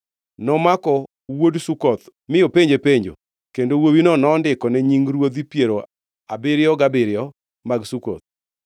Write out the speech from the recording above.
Nomako wuod Sukoth mi openje penjo, kendo wuowino nondikone nying ruodhi piero abiro gabiriyo mag Sukoth.